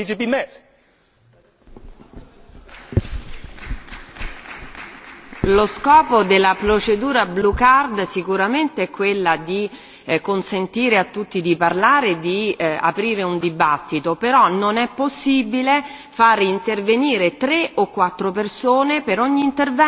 Lo scopo della procedura cartellino blu sicuramente è quello di consentire a tutti di parlare e di aprire un dibattito, però non è possibile fare intervenire tre o quattro persone per ogni intervento, soprattutto persone che sono già iscritte o che hanno già parlato.